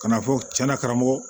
Ka n'a fɔ tiɲɛna karamɔgɔ